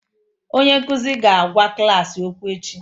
Onye nkuzi ga-agwa klas okwu echi